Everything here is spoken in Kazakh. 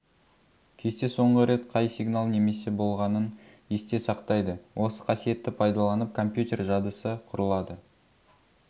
кесте соңғы рет қай сигнал немесе болғанын есте сақтайды осы қасиетті пайдаланып компьютер жадысы құрылады